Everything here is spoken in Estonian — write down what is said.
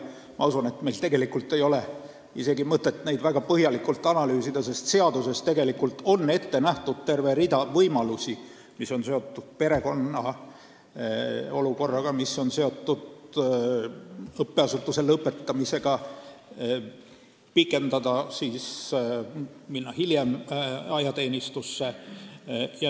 Ma usun, et meil ei ole isegi mõtet neid väga põhjalikult analüüsida, sest seaduses on tegelikult ette nähtud terve rida pikendamise võimalusi, mis on seotud näiteks perekonna olukorraga või õppeasutuse lõpetamisega, st kui saab hiljem ajateenistusse minna.